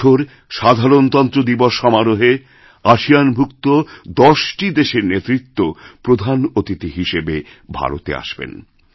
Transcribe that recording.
এবছর সাধারণতন্ত্র দিবসসমারোহে আসিয়ানভুক্ত দশটি দেশের নেতৃত্ব প্রধান অতিথি হিসেবে ভারতে আসবেন